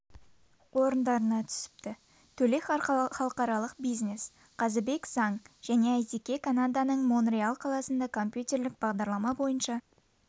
орындарына түсіпті төле халықаралық бизнес қазыбек заң және әйтеке канаданың монреаль қаласында компьютерлік бағдарлама бойынша